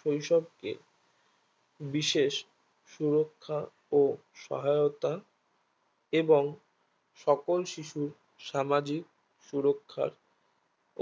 শৈশবকে বিশেষ সুরক্ষা ও সহায়তা এবং সকল শিশুর সামাজিক সুরক্ষার